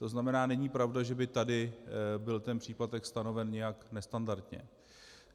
To znamená, není pravda, že by tady byl ten příplatek stanoven nějak nestandardně.